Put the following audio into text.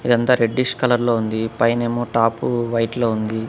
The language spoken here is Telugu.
ఇదంతా రెడ్డిష్ కలర్ లో ఉంది పైనేమో టాపు వైట్లో ఉంది.